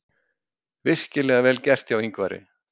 Virkilega vel gert hjá Ingvari.